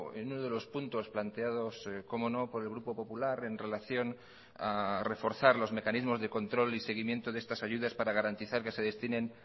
en uno de los puntos planteados cómo no por el grupo popular en relación a reforzar los mecanismos de control y seguimiento de estas ayudas para garantizar que se destinen